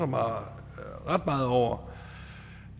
meget over